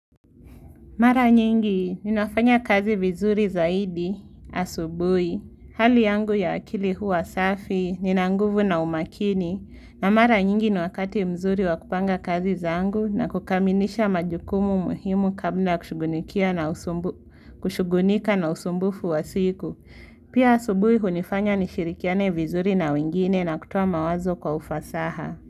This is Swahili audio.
Mara nyingi, ninafanya kazi vizuri zaidi, asubuhi, hali yangu ya akili huwa safi, nina nguvu na umakini, na mara nyingi ni wakati mzuri wakupanga kazi zaangu na kukamilisha majukumu muhimu kabla ya kushugunika na usumbufu wa siku. Pia asubuhi hunifanya nishirikiane vizuri na wengine na kutoa mawazo kwa ufasaha.